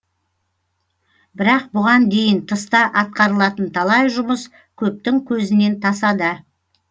бірақ бұған дейін тыста атқарылатын талай жұмыс көптің көзінен тасада